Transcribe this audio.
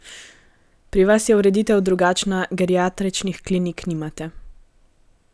Pri vas je ureditev drugačna, geriatričnih klinik nimate.